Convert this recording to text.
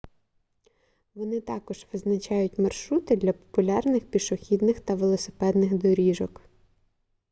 вони також визначають маршрути для популярних пішохідних та велосипедних доріжок